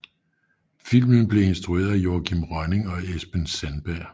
Filmen blev instrueret af Joachim Rønning og Espen Sandberg